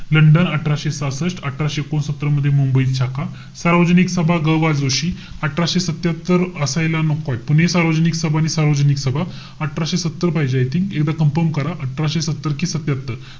London अठराशे सहासष्ट. अठराशे एकोणसत्तर मध्ये मुंबईत शाखा. सार्वजनिक सभा, ग बा जोशी. अठराशे सत्यात्तर असायला नकोय. पुणे सार्वजनिक सभा आणि सार्वजनिक सभा, अठराशे सत्तर पाहिजे I think. एकदा confirm करा. अठराशे सत्तर कि सत्यात्तर.